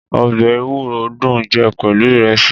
Ọ̀bẹ ẹ̀wúro dun jẹ pelu ìrẹsi